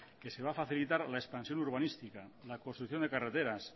que se va a facilitar la expansión urbanística la construcción de carreteras